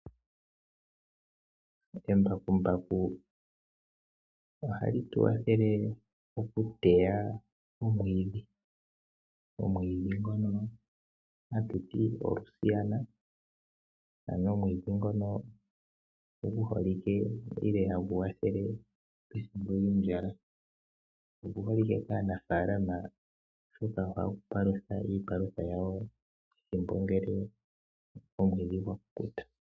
Embakumbaku ohali tukwathele mokuteya omwiidhi. Omwiidhi ngono hatuti o Luciano ano omwiidhi ngono gu holike hagu kwathele ethimbo lyondjala oguholike kaanafaalama oshoka ohagu palutha iipalutha yawo ethimbo ngele omwiidhi gwa kukuta.